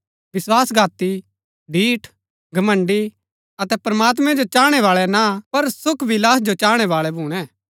विस्वासघाती ढीठ घमण्‍ड़ी अतै प्रमात्मैं जो चाहणैं बाळै ना पर सुख विलास जो चाहणैं बाळै भूणै